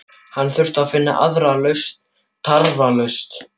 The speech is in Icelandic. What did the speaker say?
Hann þurfti að finna aðra lausn tafarlaust.